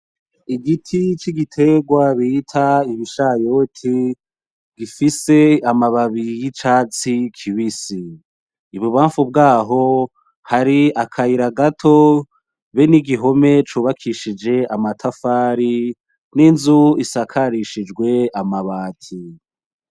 Igiti c' igiterwa bita ibishayote gifise amababi yicatsi kibisi, ibubamfu bwaho hari akayira gato be n'igihome cubakishije amatafari n inzu isakarishijwe amabati.